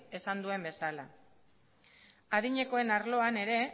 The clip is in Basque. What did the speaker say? esan duen bezala adinekoen arloan ere